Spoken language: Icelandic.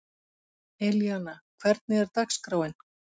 Elíanna, hvernig er dagskráin?